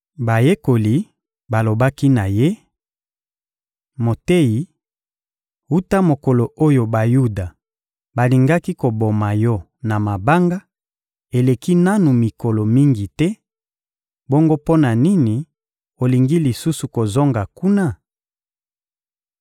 Bayekoli balobaki na Ye: — Moteyi, wuta mokolo oyo Bayuda balingaki koboma Yo na mabanga, eleki nanu mikolo mingi te; bongo mpo na nini olingi lisusu kozonga kuna?